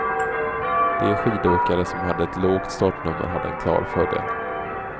De skidåkare som hade ett lågt startnummer hade en klar fördel.